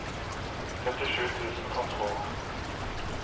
førtisju tusen og tolv